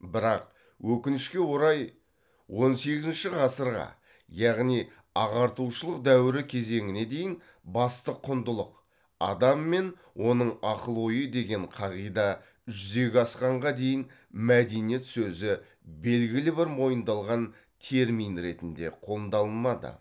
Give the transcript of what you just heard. бірақ өкінішке орай он сегізінші ғасырға яғни ағартушылық дәуірі кезеңіне дейін басты құндылық адам мен оның ақыл ойы деген қағида жүзеге асқанға дейін мәдениет сөзі белгілі бір мойындалған термин ретінде